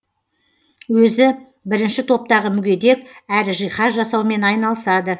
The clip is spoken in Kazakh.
өзі бірінші топтағы мүгедек әрі жиһаз жасаумен айналысады